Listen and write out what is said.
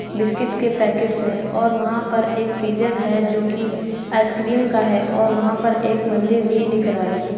Biscuit के packets हैं और वहां पर एक फ्रीजर है जो कि आईसक्रीम का है और वहां पर एक मन्दिर भी दिख रहा है।